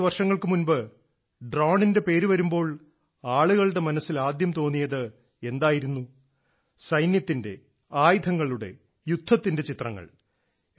കുറച്ച് വർഷങ്ങൾക്ക് മുമ്പ് ഡ്രോണിന്റെ പേര് വരുമ്പോൾ ആളുകളുടെ മനസ്സിൽ ആദ്യം തോന്നിയത് എന്തായിരുന്നു സൈന്യത്തിന്റെ ആയുധങ്ങളുടെ യുദ്ധത്തിന്റെ ചിത്രങ്ങൾ